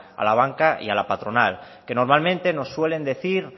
a la banca y a la patronal que normalmente nos suelen decir